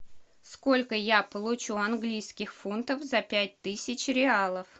сколько я получу английских фунтов за пять тысяч реалов